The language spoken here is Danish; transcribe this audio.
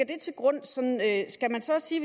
det til grund skal man så sige